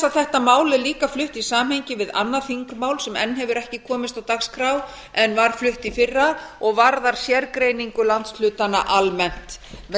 þetta mál er líka flutt í samhengi við annað þingmál sem enn hefur ekki komist á dagskrá en var flutt í fyrra og varðar sérgreiningu landshlutanna almennt með